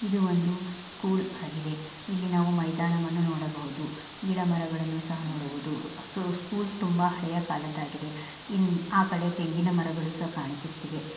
ಇದು ಒಂದು ಸ್ಕೂಲ್ ಆಗಿದೆ. ಇಲ್ಲಿ ನಾವು ಮೈದಾನ ವನ್ನು ನೋಡಬಹುದು ಗಿಡ ಮರಗಳನ್ನು ಸಹ ನೋಡಬಹುದು. ಸೊ ಸ್ಕೂಲ್ ತುಂಬಾ ಹಳೆಯ ಕಾಲದಾಗಿದೆ. ಇನ್ ಆ ಕಡೆ ತೆಂಗಿನ ಮರಗಳು ಸಹ ಕಾಣುಸತ್ತೀವೆ.